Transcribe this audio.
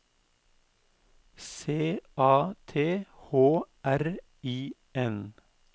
C A T H R I N